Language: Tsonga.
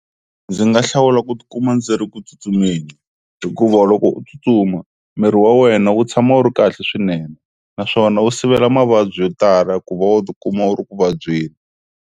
Ndzi nga hlawula ku ti kuma ndzi ri ku tsutsumeni hikuva loko u tsutsuma miri wa wena wu tshama wu ri kahle swinene naswona wu sivela mavabyi yo tala ku va u ti kuma u ri ku vabyeni.